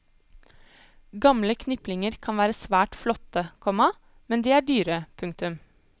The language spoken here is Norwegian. Gamle kniplinger kan være svært flotte, komma men de er dyre. punktum